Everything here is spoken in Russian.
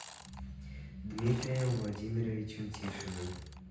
дмитрием владимировичем тишиным